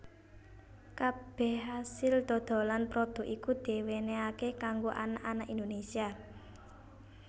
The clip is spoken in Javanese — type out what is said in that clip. Kabeh asil dodolan prodhuk iku diwenenhaké kanggo anak anak Indonésia